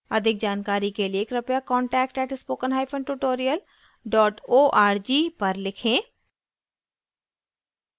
अधिक जानकारी के लिए कृपया contact @spokentutorial org पर लिखें